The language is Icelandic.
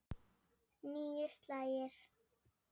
Níu slagir.